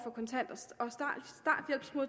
for